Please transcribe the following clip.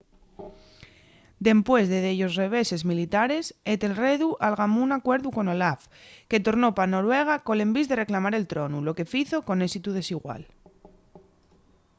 dempués de dellos reveses militares etelredu algamó un acuerdu con olaf que tornó pa noruega col envís de reclamar el tronu lo que fizo con ésitu desigual